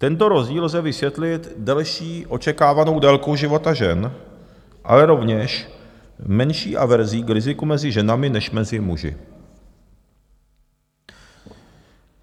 Tento rozdíl lze vysvětlit delší očekávanou délkou života žen, ale rovněž menší averzí k riziku mezi ženami než mezi muži.